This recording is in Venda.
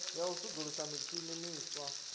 ya u sudzulusa mitshini miswa